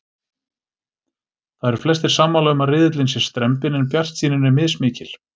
Það eru flestir sammála um að riðillinn sé strembinn en bjartsýnin er mismikil.